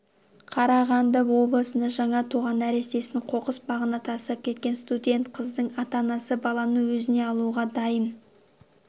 қарағанды облысында жаңа туған нәрестесін қоқыс багына тастап кеткен студент қыздың ата-анасы баланы өзіне алуға дайын